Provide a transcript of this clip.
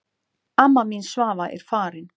Amma mín Svava er farin.